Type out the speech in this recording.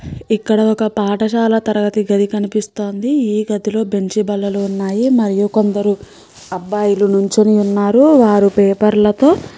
ఇక్కడ ఒక పాఠశాల గది కనిపిస్తోంది ఇ గది లో బీన్చ్ లు ఉన్నాయి మరియు కొందరు అబ్బాయిలు నించొని ఉన్నారు మరియు వారి పేపర్లు తో --